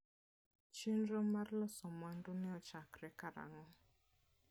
Chenro mar loso mwandu ne ochakore karang'o?